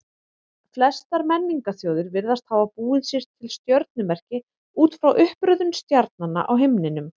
Flestar menningarþjóðir virðast hafa búið sér til stjörnumerki út frá uppröðun stjarnanna á himninum.